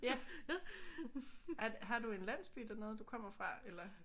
Ja. Har har du en landsby dernede du kommer fra eller?